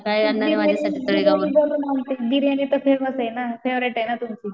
बिर्याणी बनून आणते. बिर्याणीतर फेमसये ना फेवरेटेना तुमची.